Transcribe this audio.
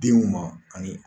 Denw ma ani